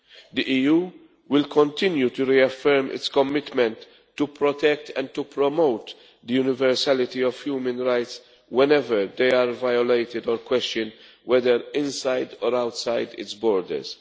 The EU will continue to reaffirm its commitment to protect and to promote the universality of human rights whenever they are violated or questioned, whether inside or outside its borders.